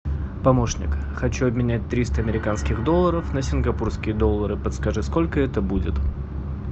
помощник хочу обменять триста американских долларов на сингапурские доллары подскажи сколько это будет